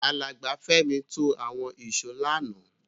Alàgbà Fẹ́mi to àwon ìsó lánàá